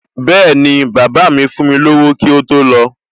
Bẹ́ẹ̀ni, bàbá míì fún mi lówó kí ó tó lọ